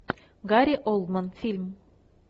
гари олдман фильм